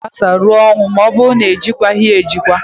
Ọgbaaghara ga-agbasaa ruo ọnwụ ma ọ bụrụ na-ejikwaghị ya ejikwa